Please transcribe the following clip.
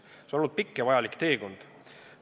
See on olnud pikk ja vajalik teekond.